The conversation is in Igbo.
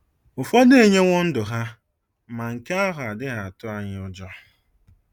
Ụfọdụ enyewo ndụ ha, ma nke ahụ adịghị atụ anyị ụjọ.